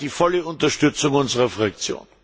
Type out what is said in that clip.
Er hat die volle Unterstützung unserer Fraktion.